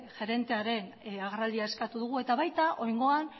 gerentearen agerraldia eskatu dugu eta baita oraingoan